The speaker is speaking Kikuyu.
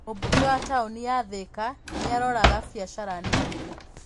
Mũmbunge wa taũni ya Thika nĩ aroraga biacara nini.